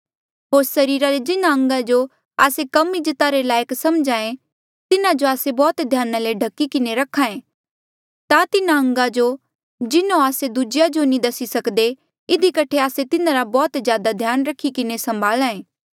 होर सरीरा रे जिन्हा अंगा जो आस्से कम इज्जता रे लायक समझे तिन्हा जो आस्से बौह्त ध्याना ले ढकी किन्हें रख्हा ऐें ता तिन्हा अंगा जो जिन्हों आस्से दूजेया जो नी दसी सकदे इधी कठे आस्से तिन्हारा बौह्त ज्यादा ध्यान रखी किन्हें संभाला ऐें